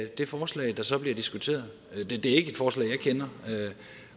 det forslag der så bliver diskuteret det er ikke et forslag jeg kender